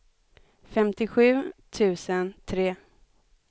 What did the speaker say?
femtiosju tusen tre